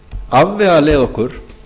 afvegaleiða okkur